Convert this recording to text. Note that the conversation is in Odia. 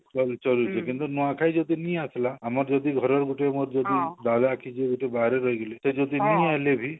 ଚଳୁଛି କିନ୍ତୁ ନୂଆଖାଇ ଆସିଲା ଆମର ଯଦି ଘର ଗୁଟିଏ ଆମର ଯଦି ବାବା କି ଯଦି କିଏ ଗୁଟେ ବାହାରେ ରହିଗଲେ